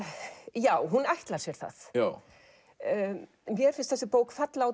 já hún ætlar sér það mér finnst þessi bók falla á